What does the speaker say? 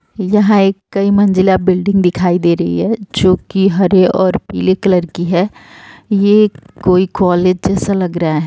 यहां एक कई मंजिला बिल्डिंग दिखाई दे रही है जोकि हरे और पीले कलर की है। ये कोई कॉलेज सा लग रहा है।